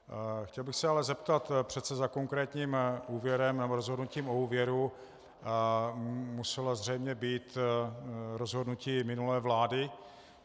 Chtěl bych se ale zeptat, přece za konkrétním úvěrem nebo rozhodnutím o úvěru muselo zřejmě být rozhodnutí minulé vlády.